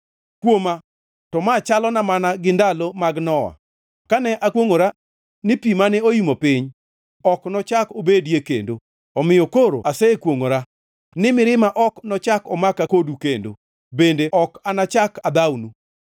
“Kuoma to ma chalona mana gi ndalo mag Nowa kane akwongʼora ni pi mane oimo piny ok nochak obedie kendo. Omiyo koro asekwongʼora ni mirima ok nochak omaka kodu kendo, bende ok anachak adhawnu.